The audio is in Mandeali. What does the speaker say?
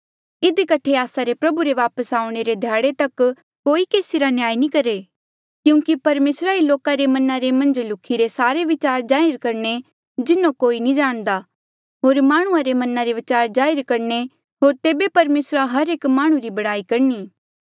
इधी कठे आस्सा रे प्रभु रे वापस आऊणें रे ध्याड़े तक कोई केसी रा न्याय नी करहे क्यूंकि परमेसरा ही लोका रे मना रे मन्झ लुख्ही रे सारे विचार जाहिर करणे जिन्हों कोई नी जाणदा होर माह्णुंआं रे मना रे विचार जाहिर करणे होर तेबे परमेसरा हर एक माह्णुं री बड़ाई करणी